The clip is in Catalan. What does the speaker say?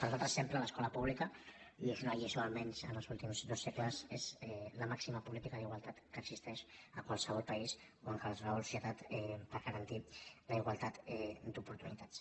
per nosaltres sempre l’escola pública i és una lliçó almenys en els últims dos segles és la màxima política d’igualtat que existeix a qualsevol país o en qualsevol societat per a garantir la igualtat d’oportunitats